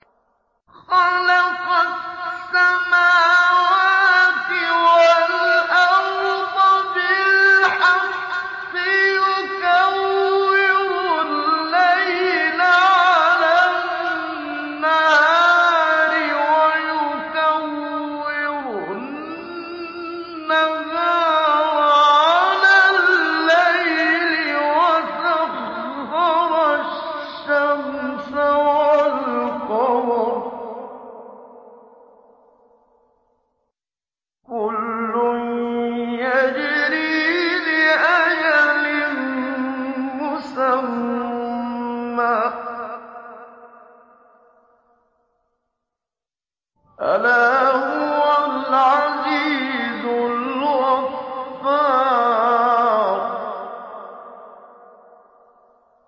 خَلَقَ السَّمَاوَاتِ وَالْأَرْضَ بِالْحَقِّ ۖ يُكَوِّرُ اللَّيْلَ عَلَى النَّهَارِ وَيُكَوِّرُ النَّهَارَ عَلَى اللَّيْلِ ۖ وَسَخَّرَ الشَّمْسَ وَالْقَمَرَ ۖ كُلٌّ يَجْرِي لِأَجَلٍ مُّسَمًّى ۗ أَلَا هُوَ الْعَزِيزُ الْغَفَّارُ